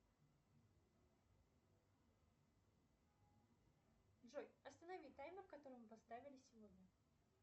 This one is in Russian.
джой останови таймер который мы поставили сегодня